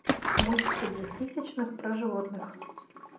мультики двухтысячных про животных